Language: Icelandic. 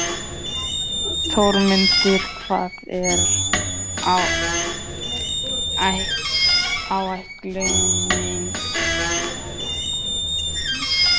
Þórmundur, hvað er á áætluninni minni í dag?